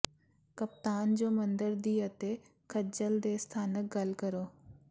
ਕਪਤਾਨ ਜੋ ਮੰਦਰ ਦੀ ਅਤੇ ਖੱਜਲ ਦੇ ਸਥਾਨਕ ਗੱਲ ਕਰੋ